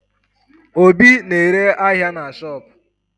Obi na-ere ahịa na shopu